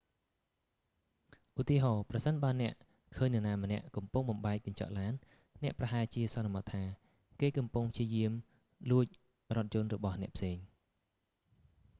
ឧទាហរណ៍ ប្រសិនបើអ្នកឃើញនរណាម្នាក់កំពុងបំបែកកញ្ចក់ឡាន អ្នកប្រហែលជាសន្មតថា គេកំពុងព្យាយាមលួចរថយន្តរបស់អ្នកផ្សេង